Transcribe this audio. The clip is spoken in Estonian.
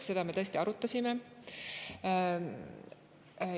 Seda me tõesti arutasime.